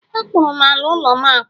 A kpụrụ ala ụlọ'm akpụ